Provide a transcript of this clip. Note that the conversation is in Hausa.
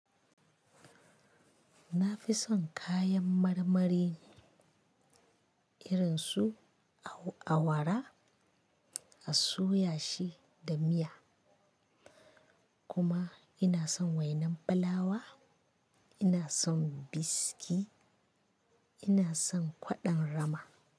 Na fi son kayan marmari irin su awara, a soya shi da miya. Kuma ina son wainan fullawa, ina son biski, ina son kwaɗon rama.